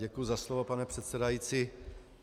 Děkuji za slovo, pane předsedající.